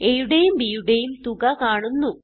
aയുടെയും b യുടെയും തുക കാണുന്നു